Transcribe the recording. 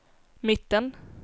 mitten